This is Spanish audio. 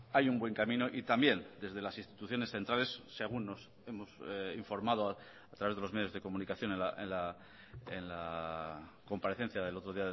hay un buen camino y también desde las instituciones centrales según nos hemos informado a través de los medios de comunicación en la comparecencia del otro